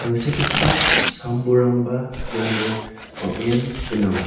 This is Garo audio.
tangsekgipa sam bolrangba iano bang·en gnang.